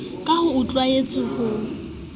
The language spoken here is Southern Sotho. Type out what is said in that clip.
ka ha o tlwaetse ho